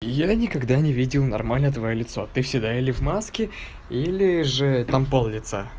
я никогда не видел нормально твоё лицо ты всегда или в маске или же там пол-лица